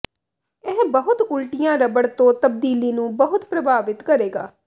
ਇਹ ਬਹੁਤ ਉਲਟੀਆਂ ਰਬੜ ਤੋਂ ਤਬਦੀਲੀ ਨੂੰ ਬਹੁਤ ਪ੍ਰਭਾਵਿਤ ਕਰੇਗਾ